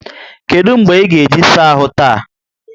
Kedụ mgbe ị ga-eji saa ahụ taa?